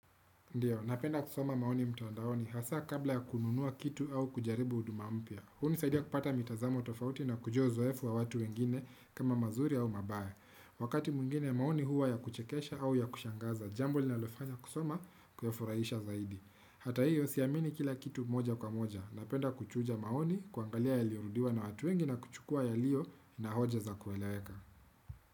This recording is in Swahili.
Ndiyo, napenda kusoma maoni mtandaoni hasa kabla ya kununua kitu au kujaribu huduma mpya. Hunisaidia kupata mitazamo tofauti na kujua uzoefu wa watu wengine kama mazuri au mabaya. Wakati mwingine maoni huwa ya kuchekesha au ya kushangaza, jambo linalofanya kusoma kuyafuraisha zaidi. Hata hiyo, siamini kila kitu moja kwa moja. Napenda kuchuja maoni, kuangalia yaliorudiwa na watu wengi na kuchukua yaliyo na hoja za kueleweka.